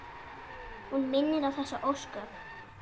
Hún minnir á þessi ósköp.